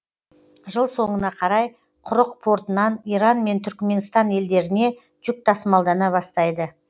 жыл соңына қарай құрық портынан иран мен түрікменстан елдеріне жүк тасымалдана бастайды